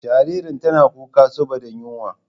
Jaririn tana kuka saboda yunwa.